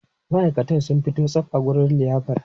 Ma'aikatan sun fito tsab a wurin liyafar.